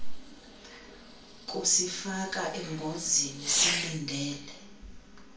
kusifaka engozini silindele